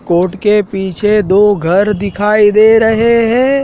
Coat के पीछे दो घर दिखाई दे रहे हैं।